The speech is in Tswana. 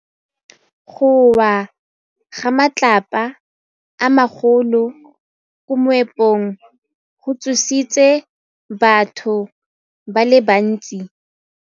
Go wa ga matlapa a magolo ko moepong go tshositse batho ba le bantsi.